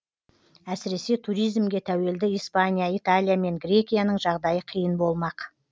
әсіресе туризмге тәуелді испания италия мен грекияның жағдайы қиын болмақ